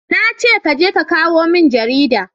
na ce ka je ka kawo min jarida!